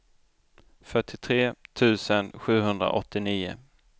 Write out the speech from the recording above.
fyrtiotre tusen sjuhundraåttionio